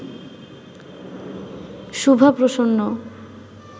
Shubha Prasanna